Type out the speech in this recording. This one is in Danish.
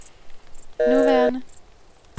nuværende